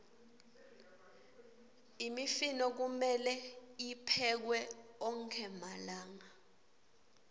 imifino kumelwe tiphekwe onkhe malanga